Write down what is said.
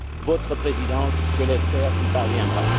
Votre Présidence, je l'espère, y parviendra.